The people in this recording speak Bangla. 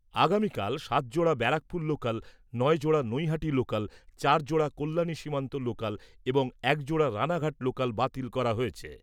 আগামীকাল সাত জোড়া ব্যারাকপুর লোকাল, নয় জোড়া নৈহাটি লোকাল, চার জোড়া কল্যাণী সীমান্ত লোকাল, এবং এক জোড়া রাণাঘাট লোকাল বাতিল করা হয়েছে।